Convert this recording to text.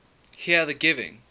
here the giving